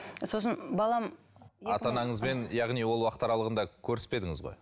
сосын балам ата анаңызбен яғни ол уақыт аралығында көріспедіңіз ғой